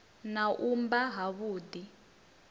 na u mba ha vhudi